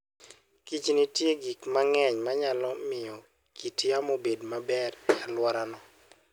Kich nitie gik mang'eny ma nyalo miyo kit yamo obed maber e alworano.